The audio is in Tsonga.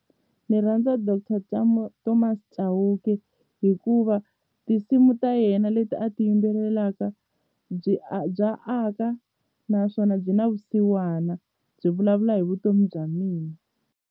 Ndzi rhandza Doctor Thomas Chauke hikuva tinsimu ta yena leti a ti yimbelelaka byi bya aka naswona byi na vusiwana byi vulavula hi vutomi bya mina.